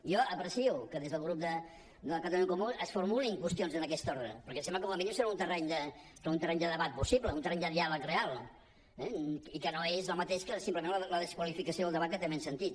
jo aprecio que des del grup de catalunya en comú es formulin qüestions en aquest ordre perquè em sembla que com a mínim som en un terreny de debat possible un terreny de diàleg real i que no és el mateix que simplement la desqualificació del debat que també hem sentit